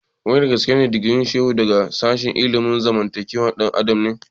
Wai dagaske digirin Shehu daga sashen ilimin zamantakewar ɗan adam ne?